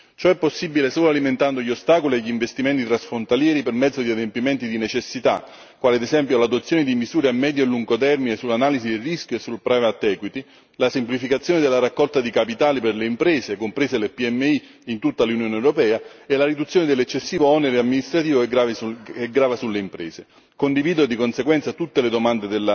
Ciò è possibile solo eliminando gli ostacoli agli investimenti transfrontalieri per mezzo di adempimenti di necessità, quali ad esempio l'adozione di misure a medio e lungo termine sull'analisi del rischio e sul private equity la semplificazione della raccolta di capitali per le imprese, comprese le PMI, in tutta l'Unione europea e la riduzione dell'eccessivo onere amministrativo che grava sulle imprese. Condivido, di conseguenza, tutte le domande